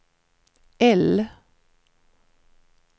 L